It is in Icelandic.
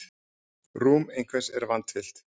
Rúm einhvers er vandfyllt